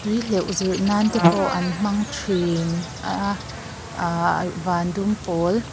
tui hleuh zir nan te pawh an hmang thin a ahh van dum pawl --